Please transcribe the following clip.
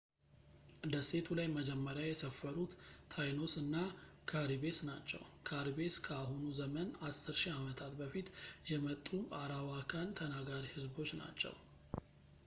ደሴቱ ላይ መጀመሪያ የሰፈሩት ታይኖስ እና ካሪቤስ ናቸው ካሪቤስ ከአሁኑ ዘመን 10,000 ዓመታት በፊት የመጡ አራዋካን ተናጋሪ ህዝቦች ናቸው